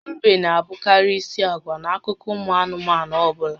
Ḿbè n'abụkarị ísì àgwà n'akụkọ ụmụ anụmanụ ọbụla